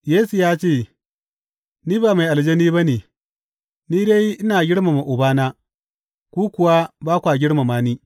Yesu ya ce, Ni ba mai aljani ba ne, ni dai ina girmama Ubana, ku kuwa ba kwa girmama ni.